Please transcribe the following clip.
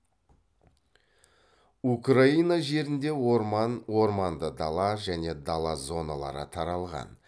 украина жерінде орман орманды дала және дала зоналары таралған